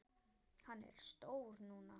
Hann er stór núna.